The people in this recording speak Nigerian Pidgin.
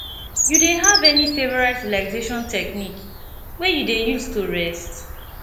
you dey have any favorite relaxation technique wey you dey use to rest